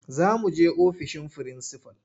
Za muje ofishin frinsifal.